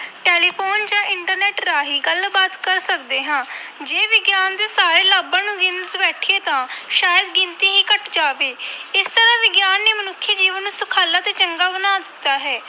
Telephone ਜਾਂ internet ਰਾਹੀਂ ਗੱਲਬਾਤ ਕਰ ਸਕਦੇ ਹਾਂ ਜੇ ਵਿਗਿਆਨ ਦੇ ਸਾਰੇ ਲਾਭਾਂ ਨੂੰ ਗਿਣਨ ਬੈਠੀਏ ਤਾਂ ਸ਼ਾਇਦ ਗਿਣਤੀ ਹੀ ਘੱਟ ਜਾਵੇ ਇਸ ਤਰ੍ਹਾਂ ਵਿਗਿਆਨ ਨੇ ਮਨੁੱਖੀ ਜੀਵਨ ਨੂੰ ਸੁਖਾਲਾ ਤੇ ਚੰਗਾ ਬਣਾ ਦਿੱਤਾ ਹੈ।